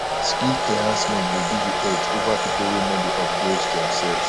skill enhancement go give you edge over people wey no dey upgrade themselves